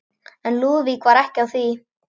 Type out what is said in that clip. En Lúðvík var ekki á því.